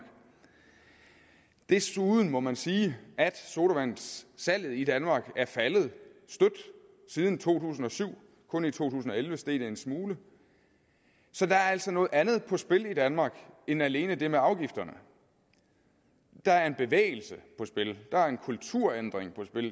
desuden må man sige at sodavandssalget i danmark er faldet støt siden to tusind og syv kun i to tusind og elleve steg det en smule så der er altså noget andet på spil i danmark end alene det med afgifterne der er en bevægelse på spil der er en kulturændring på spil